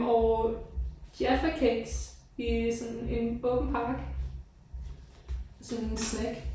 Og Jaffa cakes i sådan en åben pakke. Sådan en snack